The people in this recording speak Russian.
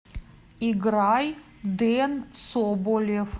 играй дэн соболев